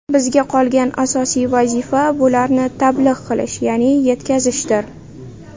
Bizga qolgan asosiy vazifa bularni tablig‘ qilish, ya’ni yetkazishdir.